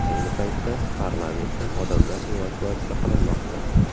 Ayni paytda parlamentdan odamlar evakuatsiya qilinmoqda.